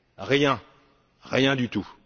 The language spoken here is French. Rien, rien du tout.